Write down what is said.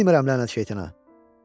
Bilmirəm lənət şeytana.